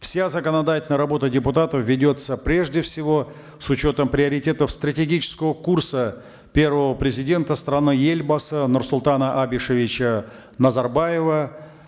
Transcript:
вся законодательная работа депутатов ведется прежде всего с учетом приоритетов стратегического курса первого президента страны елбасы нурслутана абишевича назарбаева